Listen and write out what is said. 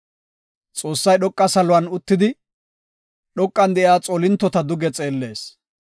“Xoossay dhoqa saluwan uttidi, dhoqan de7iya xoolintota duge xeellees.